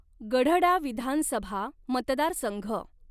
गढडा विधानसभा मतदारसंघ